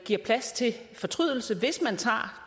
giver plads til fortrydelse hvis man tager